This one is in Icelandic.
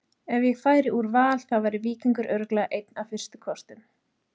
Ef ég færi úr Val þá væri Víkingur örugglega einn af fyrstu kostum.